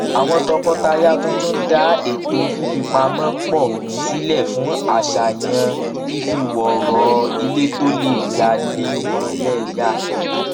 àwọn tọkọtaya tuntun dá ètò fífipamọ pọ sílẹ fún àṣàyàn fífọwọrọ ilé tó lè yà lé wọn lẹyà